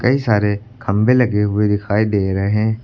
कई सारे खंबे लगे हुए दिखाई दे रहें--